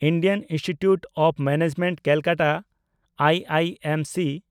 Indian institute of management Calcutta (IIMC)